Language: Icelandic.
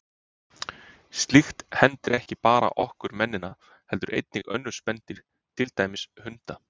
Slíkt hendir ekki bara okkur mennina heldur einnig önnur spendýr, til dæmis hunda.